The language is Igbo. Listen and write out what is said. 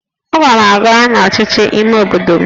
Aga m aga n'ọchịchị ime obodo m